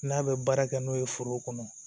N'a bɛ baara kɛ n'o ye foro kɔnɔ